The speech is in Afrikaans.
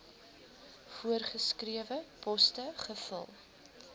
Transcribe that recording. voorgeskrewe poste gevul